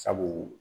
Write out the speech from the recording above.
Sabu